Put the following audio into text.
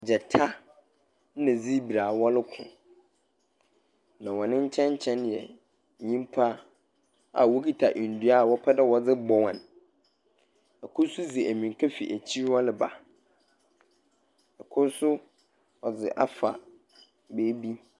Gyata ɛna sibra a wɔreko. Na wɔn nkyɛn nkyɛn yɛ nnipa a wokita nnua a wɔpɛ dɛ wɔde bɔ wɔn. Ɛkoro so di mmirika firi akyiri hɔ reba. Ɛkoro so ɔde afa baabi.